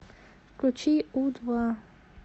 включи у два